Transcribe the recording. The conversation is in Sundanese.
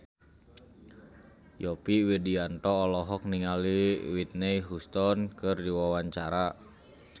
Yovie Widianto olohok ningali Whitney Houston keur diwawancara